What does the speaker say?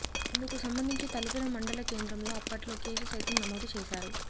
ఇందుకు సంబంధించి తలుపుల మండల కేంద్రంలో అప్పట్లో కేసు సైతం నమోదు చేశారు